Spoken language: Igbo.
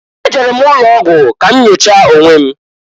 Ejere m ụlọogwụ ka m nyochaa onwe m.